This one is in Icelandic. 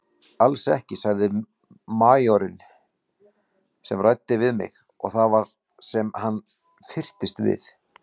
Alls ekki sagði majórinn sem ræddi við mig og það var sem hann fyrtist við.